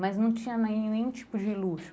Mas não tinha nenhum tipo de luxo.